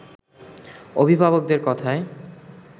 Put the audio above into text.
অভিভাবকদের কথায়